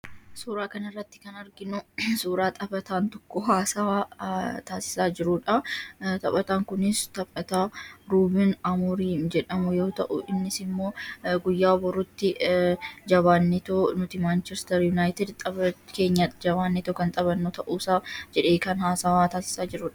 Suuraa kanarratti kan arginu suuraa taphataan tokko haasawa taasisaa jirudha. Taphataan kunis taphataa ruumen amoorin jedhamu yoo ta'u, innisimmoo guyyaa boruutti jabaannetoo nuti manchister yunaayitid tapha keenya jabaannetoo kan taphannu ta'uusaa jedhee kan haasaa taasisaa jirudha.